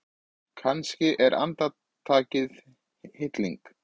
Kannski er andartakið hilling.